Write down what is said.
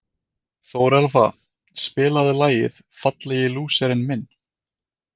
Þórelfa, spilaðu lagið „Fallegi lúserinn minn“.